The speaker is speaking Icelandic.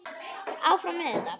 Áfram með þetta.